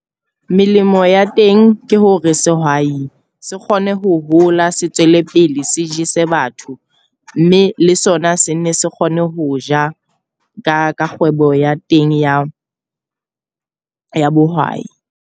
Melemo ya teng ke hore sehwai se kgone ho hola, se tswele pele se jese batho. Mme le sona se ne se kgone ho ja ka kgwebo ya teng ya ya bohwai.